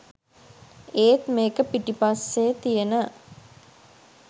ඒත් මේක පිටිපස්සේ තියෙන